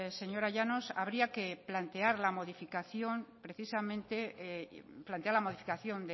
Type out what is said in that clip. señora llanos habría que plantear la modificación precisamente plantea la modificación